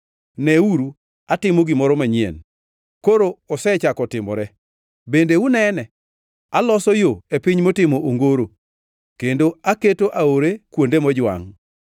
Neuru, atimo gimoro manyien! Koro osechako timore, bende unene? Aloso yo e piny motimo ongoro kendo aketo aore kuonde mojwangʼ.